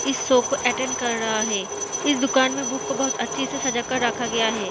इस शो को अटेंड कर रहा है इस दुकान में बुक को बहुत अच्छे से सजाकर रखा गया है।